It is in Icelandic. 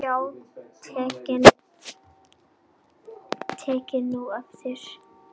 Já takið nú eftir.